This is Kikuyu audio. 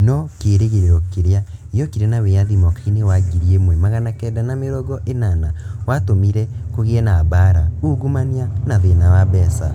No kĩĩrĩgĩrĩro kĩrĩa gĩokire na wĩyathi mwaka-inĩ wa ngiri ĩmwe magana kenda na mĩrongo ĩnana watũmire kũgĩe na mbaara, ungumania, na thĩna wa mbeca.